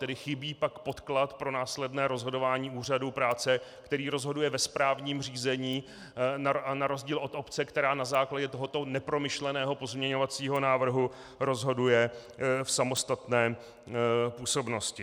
Tedy chybí pak podklad pro následné rozhodování úřadu práce, který rozhoduje ve správním řízení, na rozdíl od obce, která na základě tohoto nepromyšleného pozměňovacího návrhu rozhoduje v samostatné působnosti.